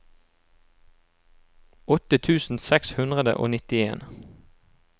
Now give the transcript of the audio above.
åtte tusen seks hundre og nittien